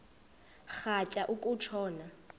rhatya uku tshona